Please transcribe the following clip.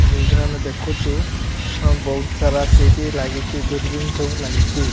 ଜଉଗୁରା ଆମେ ଦେଖୁଚୁ ବହୁତ ସାରା ସେଇଟି ଲାଗିଚି ଦୂର୍ବିନ ସବୁ ଲାଗିଛି।